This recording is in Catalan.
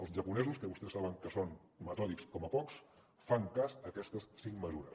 els japonesos que vostès saben que són metòdics com pocs fan cas a aquestes cinc mesures